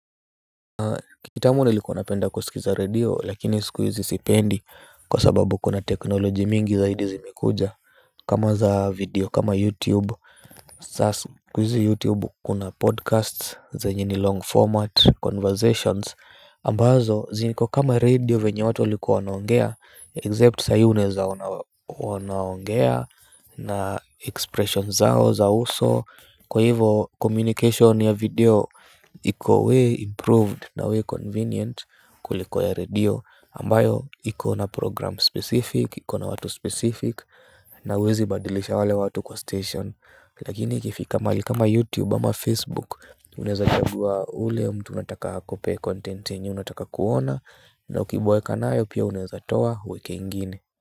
Kitambo nilikuwa napenda kusikiza redio lakini sik hizi sipendi kwa sababu kuna technology mingi zaidi zimekuja kama za video kama youtube sasa siku hizi YouTube kuna podcasts zenye ni long format conversations ambazo ziko kama radio venye watu walikuwa wanaongea except sahii unaeza ona wanaongea na expressions zao za uso kwa hivo communication ya video. Iko way improved na way convenient kuliko ya radio ambayo iko na program specific. Ikona watu specific. Na huwezi badilisha wale watu kwa station. Lakini ikifika mahali kama YouTube ama Facebook. Uneza chagua ule mtu unataka akupe content yenye unataka kuona. Na ukiboeka nayo pia uneza toa ueke ingine.